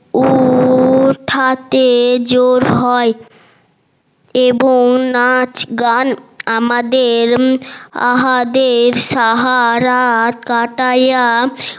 উউউউ ঠাতে জোর হয় এবং নাচ গান আমাদের সারারাত কাটাইয়া